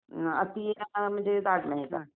अति म्हणजे जाड नाही.